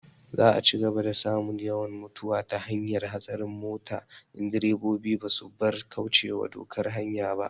Za a cigaba da samun yawan mutuwa ta hanyar hatsarin mota in direbobi ba su bar kaucewa dokar hanya ba